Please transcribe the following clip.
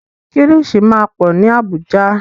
Kílìṣí máa pọ̀ ní Àbújá.